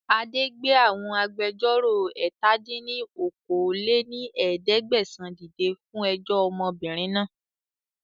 Adé gbé àwọn agbẹjọ́ró ẹ̀ta dín ní okòó-lé-ní-ẹ̀ẹ́dẹ́gbẹ́sán dìde fún ẹjọ́ ọmọbìnrin náà